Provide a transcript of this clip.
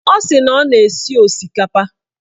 Ọ sị na ọ na-esi osikapa